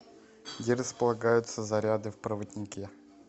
где располагаются заряды в проводнике